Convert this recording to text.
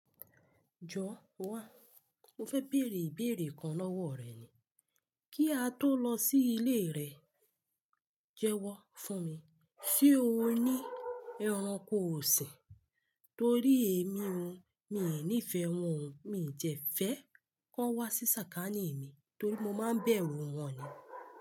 Jọ̀ wa, mo fẹ́ bèèrè ìbéèrè kan lọ́wọ́ rẹ ni. Kí a tó lọ sí ilé rẹ, jẹ́wọ́ fún mi, ṣe o ní ẹranko ọ̀sìn? Torí èmi òun, mi ò ní ìfẹ́ won oo, mi dẹ̀ fẹ́ kó wá sí sàkání mi torí mo máa ń bẹ̀rù wọn ni.